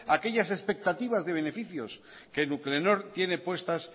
aquellas expectativas de beneficios que nuclenor tiene puestas